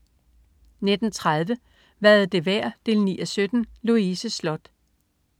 19.30 Hvad er det værd? 9:17. Louise Sloth